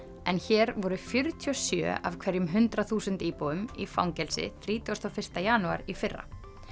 en hér voru fjörutíu og sjö af hverjum hundrað þúsund íbúum í fangelsi þrítugasta og fyrsta janúar í fyrra